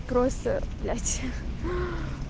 просто блять